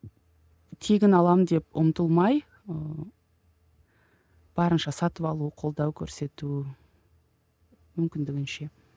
тегін аламын деп ұмтылмай ыыы барынша сатып алу қолдау көрсету мүмкіндігінше